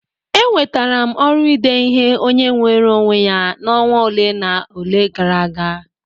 Enwetara m ọrụ ide ihe onye nweere onwe ya na ọnwa ole na ole gara aga.